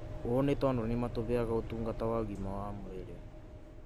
ũũ nĩ tondũ nĩ matũheaga ũtungata wa ũgima wa mwĩrĩ.